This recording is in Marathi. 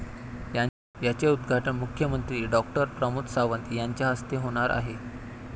याचे उद्घाटन मुख्यमंत्री डॉ. प्रमोद सावंत यांच्याहस्ते होणार आहे.